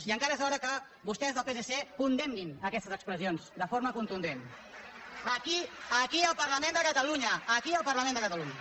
i encara és hora que vostès el psc condemnin aquestes expressions de forma contundent aquí al parlament de catalunya aquí al parlament de catalunya